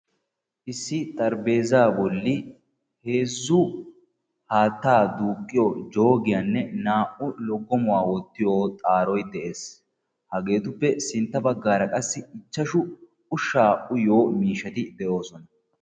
Issi xaraphpheeza bolli heezzu haatta duuqqiyo joogenne naa'u loggommoy dees. QAssikka ushsha uyiyo buquray dees.